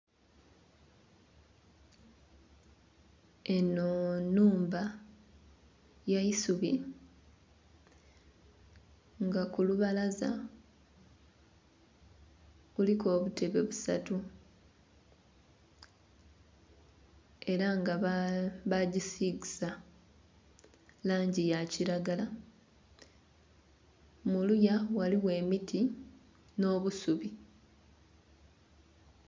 Eno enhumba yaisubi nga kulubalaza kuliku obutebe busatu era nga bagisigisa langi ya kiragala muluya ghaligho emiti n'obusubi.